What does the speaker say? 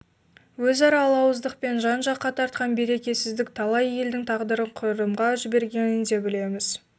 өзара алауыздықпен жан-жаққа тартқан берекесіздік талай елдің тағдырын құрдымға жібергенін де білеміз